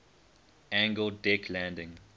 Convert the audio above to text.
angled deck landing